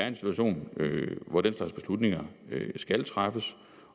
en situation hvor den slags beslutninger skal træffes